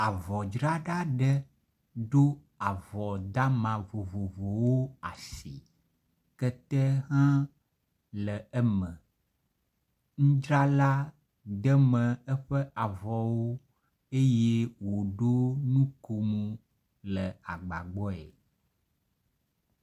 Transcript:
Avɔdzrala ɖe ɖo avɔ dama vovovowo asi. Kete hã le eme. Nudzrala deme eƒe avɔwo eye woɖo nukom le agba gbɔe.